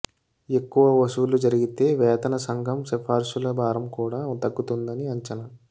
ఎక్కువ వసూళ్లు జరిగితే వేతన సంఘం సిఫారసుల భారం కూడా తగ్గుతుందని అంచనా